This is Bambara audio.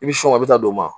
I bi a bɛ taa don o ma